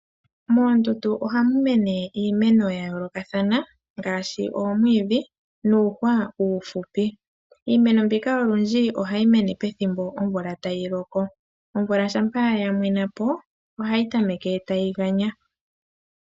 Moondundu ohamu mene iimeno ya yoolokathana ngaashi omwiidhi nuuhwa uufupi. Iimeno mbika olundji ohayi mene pethimbo lyomvula tayi loko, omvula shapa ya mwena po ohayi tameke tayi ganya.